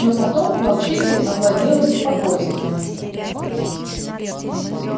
но потом волчицей овладело беспокойство